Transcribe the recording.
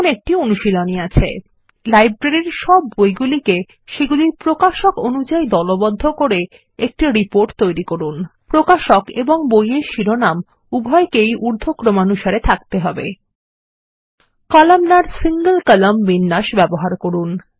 এখানে একটি অনুশীলনী আছে160 কলামনার single কলাম্ন বিন্যাস ব্যবহার করুন